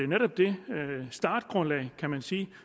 netop det startgrundlag kan man sige